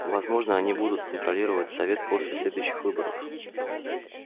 возможно они будут контролировать совет после следующих выборов